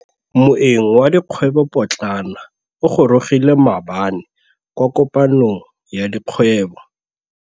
Moêng wa dikgwêbô pôtlana o gorogile maabane kwa kopanong ya dikgwêbô.